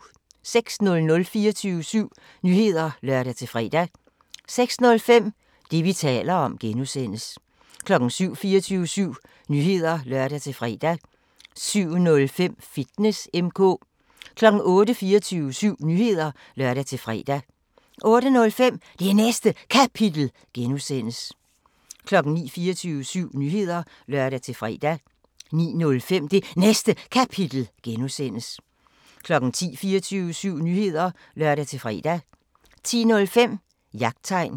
06:00: 24syv Nyheder (lør-fre) 06:05: Det, vi taler om (G) 07:00: 24syv Nyheder (lør-fre) 07:05: Fitness M/K 08:00: 24syv Nyheder (lør-fre) 08:05: Det Næste Kapitel (G) 09:00: 24syv Nyheder (lør-fre) 09:05: Det Næste Kapitel (G) 10:00: 24syv Nyheder (lør-fre) 10:05: Jagttegn